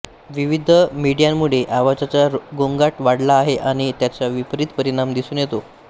विविध मीडियांमुळे आवाजाचा गोंगाट वाढला आहे आणि त्याचा विपरित परिणाम दिसून येतो